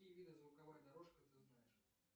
какие виды звуковая дорожка ты знаешь